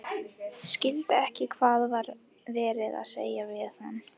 Skildi ekki hvað var verið að segja við hann.